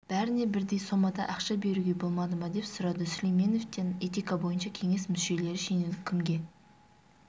бәріне бірдей сомада ақша беруге болмады ма деп сұрады сүлейменовтен этика бойынша кеңес мүшелері шенеунік кімге